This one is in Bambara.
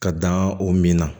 Ka dan o min na